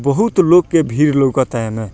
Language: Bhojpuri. बहुत लोग के भीड़ लउकता एमे।